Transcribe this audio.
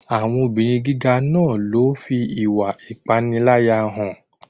Àwọn obìrin gíga náà ló fi ìwà ìpániláyà hàn.